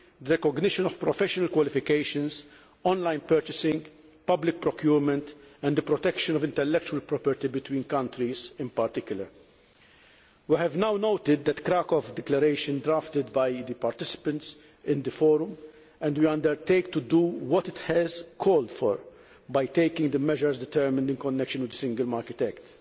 the recognition of professional qualifications, online purchasing, public procurement and the protection of intellectual property between countries, in particular. We have now noted the Krakow Declaration drafted by the participants in the Forum, and we undertake to do what it has called for by taking the measures determined in connection with the Single Market Act.